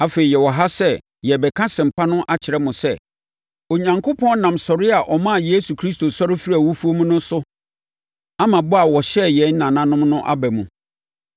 “Afei, yɛwɔ ha sɛ yɛrebɛka asɛmpa no akyerɛ mo sɛ, Onyankopɔn nam sɔre a ɔmaa Yesu Kristo sɔre firii awufoɔ mu no so ama bɔ a ɔhyɛɛ yɛn nananom no aba mu.